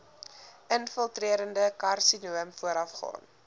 infiltrerende karsinoom voorafgaan